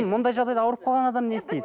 мұндай жағдайда ауырып қалған адам не істейді